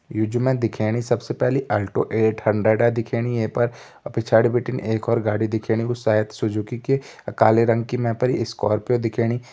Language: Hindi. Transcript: यु जु मैं दिखेणी सबसे पहली ऑल्टो एट हंड्रेडा दिखेणी ये पर और पिछाड़ी बिटिन एक और गाड़ी दिखेणी वो शायद सुजुकी की अ काले रंग की मैं स्कॉर्पियो दिखेणी।